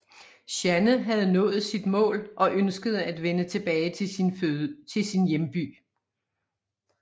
Jeanne havde nået sit mål og ønskede at vende tilbage til sin hjemby